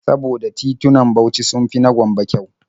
Saboda titunan Bauchi sun fi na Gombe kyau.